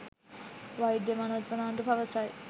වෛද්‍ය මනෝජ් ප්‍රනාන්දු පවසයි